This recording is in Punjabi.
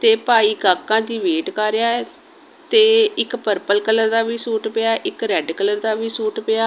ਤੇ ਭਾਈ ਕਾਕਾਂ ਦੀ ਵੇਟ ਕਰ ਰਿਹਾ ਹੈ ਤੇ ਇੱਕ ਪਰਪਲ ਕਲਰ ਦਾ ਵੀ ਸੂਟ ਪਿਆ। ਇੱਕ ਰੈੱਡ ਕਲਰ ਦਾ ਵੀ ਸੂਟ ਪਿਆ।